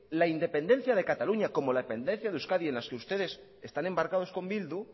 la independencia de cataluña como la independencia de euskadi en las que ustedes están embarcados con bildu